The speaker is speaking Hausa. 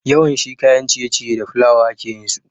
Yawanshi kayan ciye ciye da flawa ake yinsu